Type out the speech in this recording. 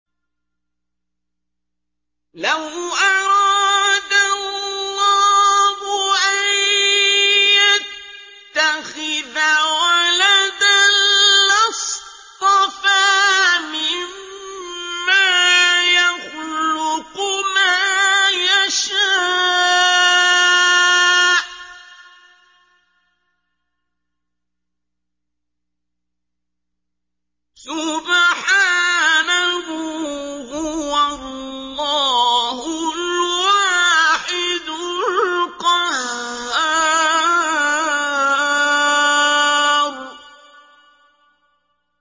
لَّوْ أَرَادَ اللَّهُ أَن يَتَّخِذَ وَلَدًا لَّاصْطَفَىٰ مِمَّا يَخْلُقُ مَا يَشَاءُ ۚ سُبْحَانَهُ ۖ هُوَ اللَّهُ الْوَاحِدُ الْقَهَّارُ